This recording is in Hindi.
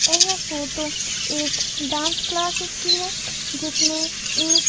यह फोटो एक डांस क्लाससेस की है जिसमे एक--